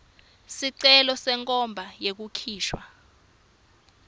sicelo senkhomba yekukhishwa